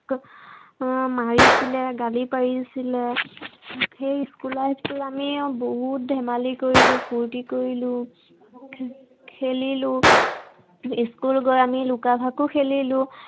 আহ মাৰিছিলে, গালি পাৰিছিলে, সেই school life টো আমি বহুত ধেমালি কৰিলো, ফুৰ্তি কৰিলো। খেলিলো। school গৈ আমি লুকা ভাকু খেলিলো।